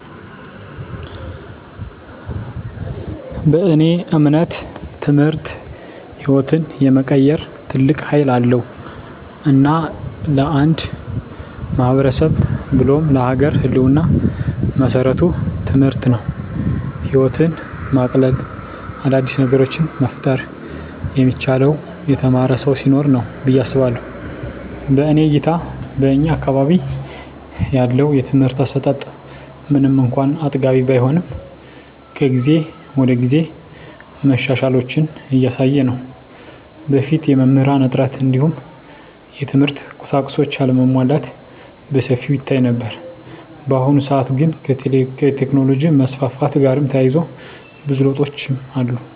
በእኔ እምነት ትምህርት ህይወትን የመቀየር ትልቅ ሀይል አለዉ። እና ለአንድ ማህበረሰብ ብሎም ለሀገር ህልወና መሰረቱ ትምህርት ነው። ህይወትን ማቅለል : አዳዲስ ነገሮችን መፍጠር የሚቻለው የተማረ ሰው ሲኖር ነው ብየ አስባለሁ። በእኔ እይታ በእኛ አካባቢ ያለው የትምህርት አሰጣት ምንም እንኳን አጥጋቢ ባይሆንም ከጊዜ ወደጊዜ መሻሻሎችን እያሳየ ነው። በፊት የመምህራን እጥረት እንዲሁም የትምህርት ቁሳቁሶች አለመሟላት በሰፊው ይታይ ነበር። በአሁኑ ሰአት ግን ከቴክኖሎጅ መስፋፋት ጋርም ተያይዞ ብዙ ለውጦች አሉ።